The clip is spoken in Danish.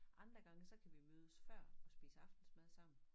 Andre gange så kan vi mødes før og spise aftensmad sammen